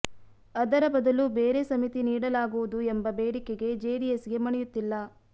ಅದರ ಬದಲು ಬೇರೆ ಸಮಿತಿ ನೀಡಲಾಗುವುದು ಎಂಬ ಬೇಡಿಕೆಗೆ ಜೆಡಿಎಸ್ಗೆ ಮಣಿಯುತ್ತಿಲ್ಲ